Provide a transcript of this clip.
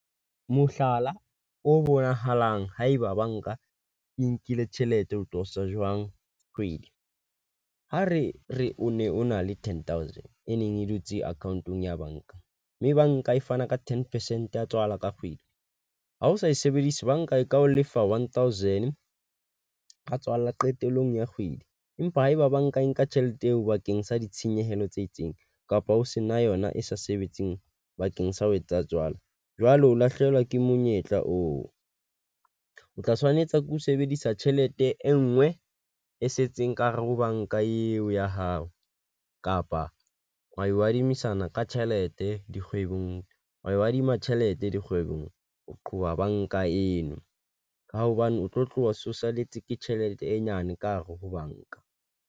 Mohlala o bonahalang haeba banka e nkile tjhelete o tosa jwang kgwedi. Ha re re o ne o na le ten thousand e ne e dutse account-ong ya banka, mme banka e fana ka ten percent ya tswala ka kgwedi. Ha o sa e sebedisa, banka e ka o lefa one thousand ya tswala qetellong ya kgwedi, empa haeba ba nka nka tjhelete eo bakeng sa ditshenyehelo tse itseng, kapa o se na yona e sa sebetseng bakeng sa ho etsa tswala, jwale o lahlehelwa ke monyetla oo. O tla tshwanetse ke ho sebedisa tjhelete e nngwe e setseng ka hare ho banka eo ya hao kapa wa e o adimisana ka tjhelete e dikgwebong wa ho adima tjhelete dikgwebong. Ho qoba banka eno ka hobane o tlo tloha socialise, ke tjhelete e nyane ka hare ho banka.